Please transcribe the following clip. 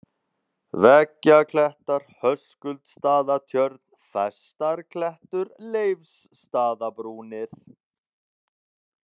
Veggjaklettar, Höskuldsstaðatjörn, Festarklettur, Leifsstaðabrúnir